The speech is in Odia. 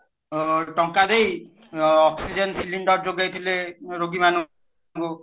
ଅ ଟଙ୍କା ଦେଇ ଅ oxygen cylinder ଯୋଗେଇଥିଲେ ରୋଗୀମାନଙ୍କୁ